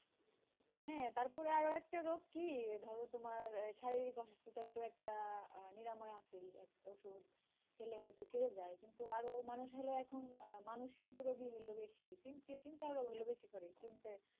হ্যাঁ তারপরে আরো একটা রোগ কি, ধর তোমার শারীরিক অসুস্থতার তো একটা নিরাময় আছে, ওষুধ খেলে হয়তো সেরে যায়, কিন্তু আরো মানুষগুলা এখন মানসিক রোগি বেশি. চিন্তায় চিন্তায় আরো বেশি করে চিন্তা,